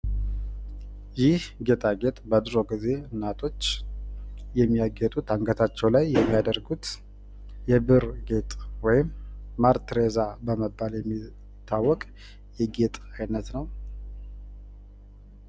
ይህ ጌጣጌጥ በድሮ ጊዜ እናቶች የማያጌጡት በአንገታቸው ላይ የማያደርጉት የብር ጌጥ ወይም ማር ቴሬዛ በመባል የሚታውቅ የጌጥ አይነት ነው።